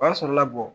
O b'a sɔrɔ labɔ